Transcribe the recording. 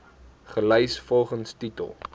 gelys volgens titel